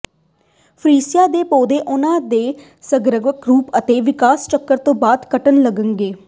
freesia ਦੇ ਪੌਦੇ ਉਨ੍ਹਾਂ ਦੇ ਸਰਗਰਮ ਰੁੱਖ ਅਤੇ ਵਿਕਾਸ ਚੱਕਰ ਤੋਂ ਬਾਅਦ ਘਟਣ ਲੱਗੇਗਾ